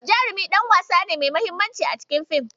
Jarumi ɗan wasa ne mai mahimmanci a cikin fim.